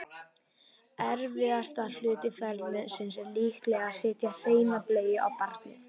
erfiðasti hluti ferlisins er líklega að setja hreina bleiu á barnið